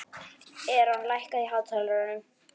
Eron, lækkaðu í hátalaranum.